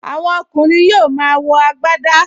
Àwọn ọkùnrin yóò máa wọ agbadá